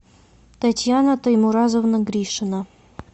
татьяна таймуразовна гришина